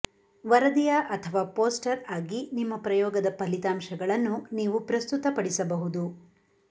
ವರದಿಯ ಅಥವಾ ಪೋಸ್ಟರ್ ಆಗಿ ನಿಮ್ಮ ಪ್ರಯೋಗದ ಫಲಿತಾಂಶಗಳನ್ನು ನೀವು ಪ್ರಸ್ತುತಪಡಿಸಬಹುದು